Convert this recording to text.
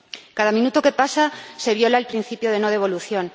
Cada minuto que pasa se viola el principio de no devolución.